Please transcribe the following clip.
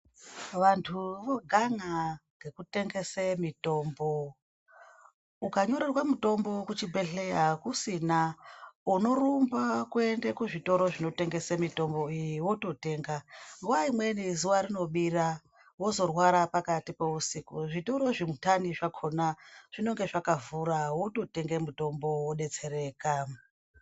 Vantu vogan'a nekutengese mitombo ukanyorerwe mutombo kuchibhedhleya hakusina unorumba kuende kuzvitoro zvinotengese mitombo iyi vototenga. Nguva imweni zuva rinobira vozorwara pakati peusiku zvitoro zvindani zvakona zvinenge zvakavhura vototenge mutombo vobetsereka.